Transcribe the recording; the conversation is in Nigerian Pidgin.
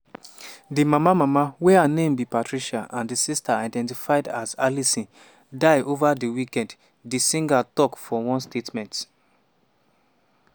di mama mama wey her name be patricia and di sister identified as alison die ova di weekend di singer tok for one statement.